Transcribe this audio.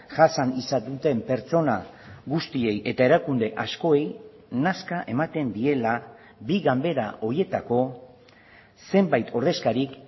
jasan izan duten pertsona guztiei eta erakunde askoei nazka ematen diela bi ganbera horietako zenbait ordezkarik